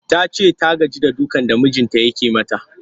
Ta ce ta gaji da dukan da mijinta yake mata